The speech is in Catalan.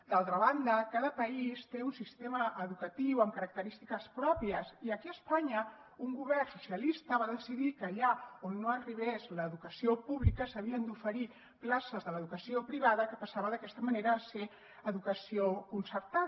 d’altra banda cada país té un sistema educatiu amb característiques pròpies i aquí a espanya un govern socialista va decidir que allà on no arribés l’educació pública s’havien d’oferir places de l’educació privada que passava d’aquesta manera a ser educació concertada